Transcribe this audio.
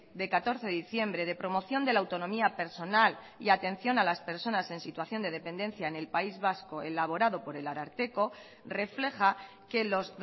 de catorce de diciembre de promoción de la autonomía personal y atención a las personas en situación de dependencia en el país vasco elaborado por el ararteko refleja que los